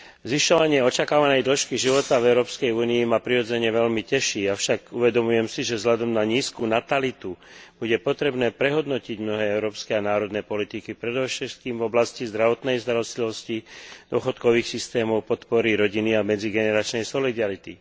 Zvyšovanie očakávanej dĺžky života v Európskej únii ma prirodzene veľmi teší, avšak uvedomujem si, že vzhľadom na nízku natalitu bude potrebné prehodnotiť mnohé európske a národné politiky, predovšetkým v oblasti zdravotnej starostlivosti, dôchodkových systémov, podpory rodiny a medzigeneračnej solidarity.